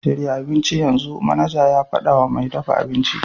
Shirya abincin yanzu!' manaja ya faɗa wa mai dafa abinci.